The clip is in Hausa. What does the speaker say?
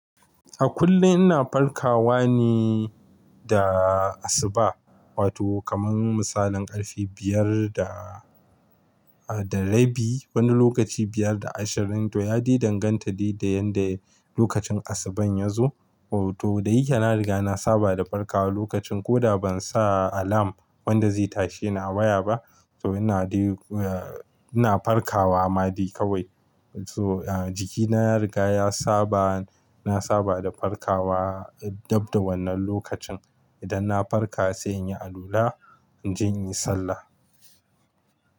A kullum ina farkawa ne da asuba wato kamar misalin karfe biyar da, da rabi. Wani lokaci biyar da ashirin to ya di danganta da yanda lokacin asuban ya zo. To da yake na riga na saba da farkawa lokacin ko da ban sa alam wanda zai tashe ni a waya ba. To ina di-- ina farkawa ma de kawai. So jiki na ya riga ya saba, na saba da farkawa dab da wannan lokacin. Idan na farka sai in yi alula, in je in yi sallah.